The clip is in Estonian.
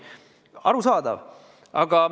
Arusaadav!